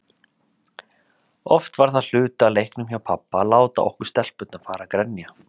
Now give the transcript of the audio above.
Oft var það hluti af leiknum hjá pabba að láta okkur stelpurnar fara að grenja.